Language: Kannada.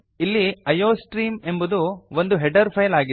ಇಲ್ಲಿ ಐಯೋಸ್ಟ್ರೀಮ್ ಎಂಬುದು ಒಂದು ಹೆಡರ್ ಫೈಲ್ ಆಗಿದೆ